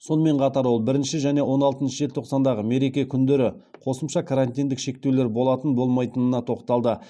сонымен қатар ол бірінші және он алтыншы желтоқсандағы мереке күндері қосымша карантиндік шектеулер болатын болмайтынына тоқталды